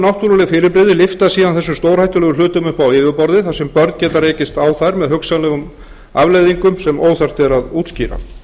náttúruleg fyrirbrigði lyfta síðan þessum stórhættulegu hlutum upp á yfirborðið þar sem börn geta rekist á þá með hugsanlegum afleiðingum sem óþarft er að útskýra